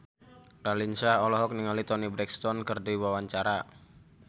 Raline Shah olohok ningali Toni Brexton keur diwawancara